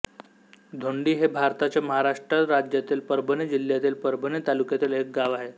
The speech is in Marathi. धोंडी हे भारताच्या महाराष्ट्र राज्यातील परभणी जिल्ह्यातील परभणी तालुक्यातील एक गाव आहे